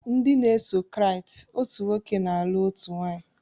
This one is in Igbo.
Nde na eso kriat, otu nwoke na alu otu nwanyị.